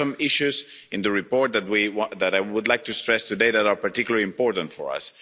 There are some issues in the report that I would like to stress today that are particularly important for us.